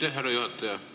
Aitäh, härra juhataja!